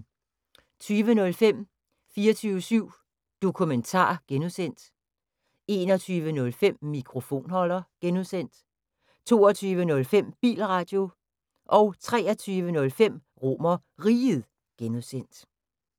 20:05: 24syv Dokumentar (G) 21:05: Mikrofonholder (G) 22:05: Bilradio 23:05: RomerRiget (G)